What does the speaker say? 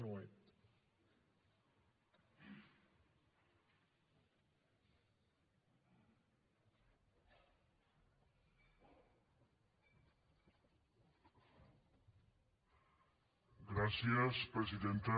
gràcies presidenta